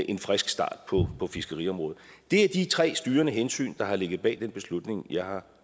en frisk start på fiskeriområdet det er de tre styrende hensyn der har ligget bag den beslutning jeg har